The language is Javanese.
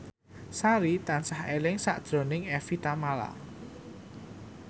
Sari tansah eling sakjroning Evie Tamala